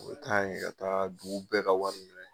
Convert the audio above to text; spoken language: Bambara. U bɛ taa an yɛrɛ ka dugu bɛɛ ka wari minɛ